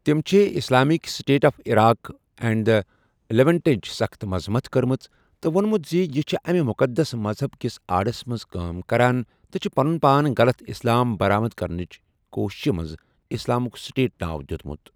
تٔمؠ چھ Islamic state of Iraq and the لیونٹٕچ سخت مذمت کٔرمٕژ تہٕ وونمت زِ یہِ چھ اَمہِ مقدس مذہب کس آڑس مَنٛز کٲم کران تہٕ چھ پنن پان غلط اِسلام برآمد کرنچ کوشش مَنٛز اسلامک سٹیٹ ناو دیتمت۔